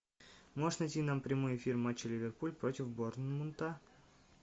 можешь найти нам прямой эфир матча ливерпуль против борнмута